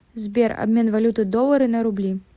сбер обмен валюты доллары на рубли